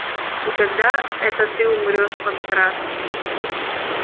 и когда это ты умрёшь панкрат